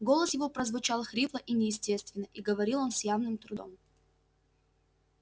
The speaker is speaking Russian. голос его прозвучал хрипло и неестественно и говорил он с явным трудом